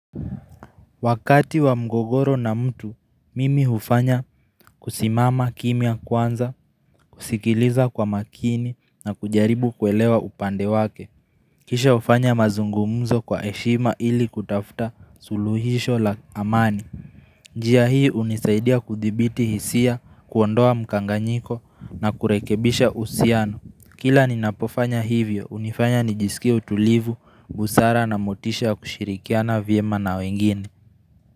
Wakati wa mgogoro na mtu mimi ufanya kusimama kimya kwanza kusikiliza kwa makini na kujaribu kuelewa upande wake Kisha ufanya mazungumuzo kwa heshima ili kutafuta suluhisho la amani njia hii unisaidia kuthibiti hisia kuondoa mkanganyiko na kurekebisha uhusiano Kila ninapofanya hivyo unifanya nijisikia utulivu busara na motisha kushirikiana vyema na wengine.